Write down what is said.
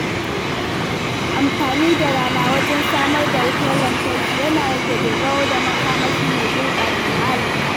Amfani da rana wajen samar da wutar lantarki yana rage dogaro da makamashi mai gurɓata muhalli.